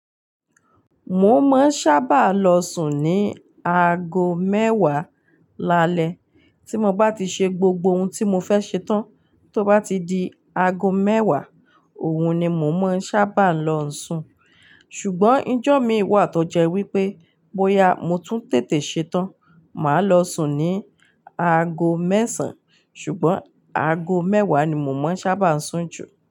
Mo máa ń sábà lọ sùn ní aago mẹ́wàá lálẹ́. Tí mo bá ti ṣe gbogbo ohun tí mo fẹ́ ṣe tán, tó bá ti di aago mẹ́wàá, òun ni mo máa ń sábà lọ sùn. Ṣùgbọ́n ijọ mi wà tó jẹ́ wípé bóyá mo tún tètè ṣe tán, màá lọ sùn ní aago mẹ́sàn-án. Ṣùgbọ́n aago mẹ́wàá ni mo máa ń sábà sùn jù.